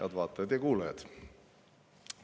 Head vaatajad ja kuulajad!